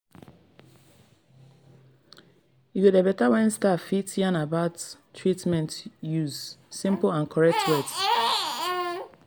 e go dey beta wen staff fit yarn about treatment use simple and correct words.